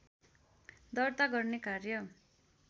दर्ता गर्ने कार्य